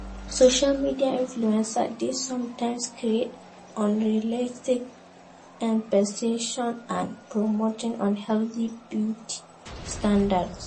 Social media influencers dey sometimes create unrealistic expectations and promote unhealthy beauty standards.